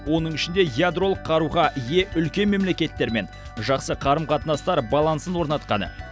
оның ішінде ядролық қаруға ие үлкен мемлекеттермен жақсы қарым қатынастар балансын орнатқаны